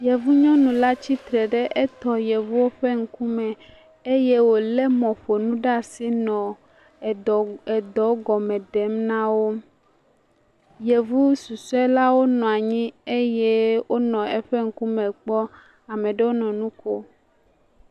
Yevu nyɔnula tsitre ɖe etɔ Yevuwo ƒe ŋkume eye wole mɔƒonu ɖe asi nɔ eɖɔ gɔme ɖem nawo. Yevu susɔe la wò nɔ anyi eye wonɔ eƒe ŋkume kpɔm. Ame ɖewo nɔ nuƒom.